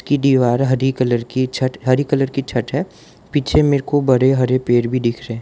ये दीवार हरी कलर की छठ हरी कलर की छत है पीछे मेरे को बड़े हरे पेड़ भी दिख रहे--